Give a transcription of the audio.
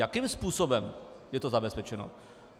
Jakým způsobem je to zabezpečeno?